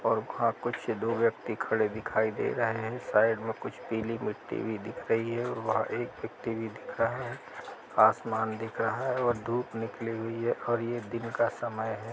और वहाँ कुछ दो व्यक्ति खड़े दिखाई दे रहे हैं। साइड में कुछ पीली मिट्टी भी दिख रही है। वहाँ एक व्यक्ति भी दिख रहा है। आसमान दिख रहा है और धूप निकली हुई है और ये दिन का समय है।